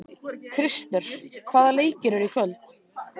Krister, hvaða leikir eru í kvöld?